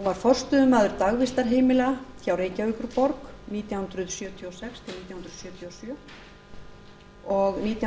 hún var forstöðumaður dagvistarheimila hjá reykjavíkurborg nítján hundruð sjötíu og sex til nítján hundruð sjötíu og sjö og nítján